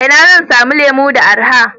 Ina zan samu lemu da araha?